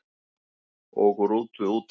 Ók rútu útaf